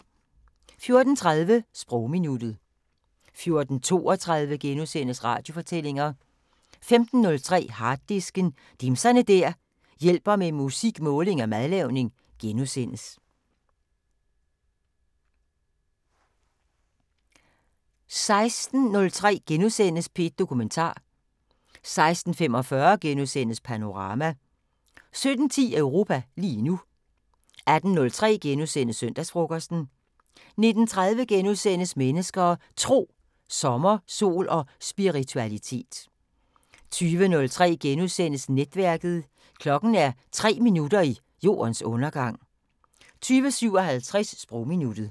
14:30: Sprogminuttet 14:32: Radiofortællinger * 15:03: Harddisken: Dimser der hjælper med musik, måling og madlavning * 16:03: P1 Dokumentar * 16:45: Panorama * 17:10: Europa lige nu 18:03: Søndagsfrokosten * 19:30: Mennesker og Tro: Sommer, sol og spiritualitet * 20:03: Netværket: Klokken er 3 minutter i jordens undergang * 20:57: Sprogminuttet